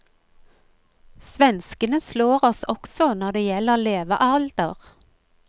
Svenskene slår oss også når det gjelder levealder.